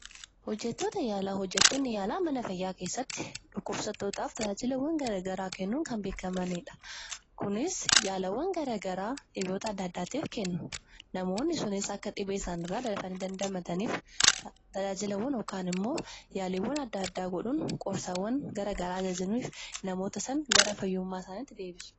Hojjettoonni yaalaa mana yaalaa keessatti dhukkubsattootaaf tajaajila yaalaa kennuun kan beekkamanidha. kunis yaalawwan adda addaa dhibeewwan adda addaatif kennu. Namoonni dhebee isaanirraa akka fayyanii fi haala duraanii isaaniitti akka deebi'aniif gargaaru.